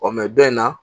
dɔ in na